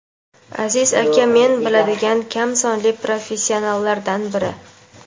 Aziz aka men biladigan kam sonli professionallardan biri.